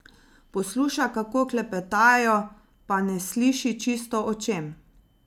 Posluša, kako klepetajo, pa ne sliši čisto, o čem.